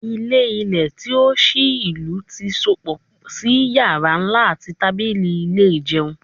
Ilẹ-ilẹ ti o ṣii ilu ti sopọ si yara nla ati tabili ile ijeun